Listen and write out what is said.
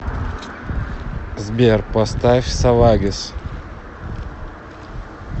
сбер поставь савагес